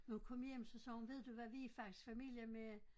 Men hun kom hjem så sagde hun ved du hvad vi er faktisk i familie med